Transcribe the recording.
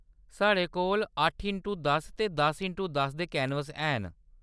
साढ़े कोल अट्ठ इंटू दस ते दस इंटू दस दे कैनवस हैन।